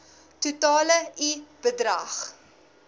totale i bedrag